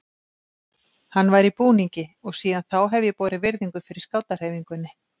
Hann var í búningi og síðan þá hef ég borið virðingu fyrir skátahreyfingunni.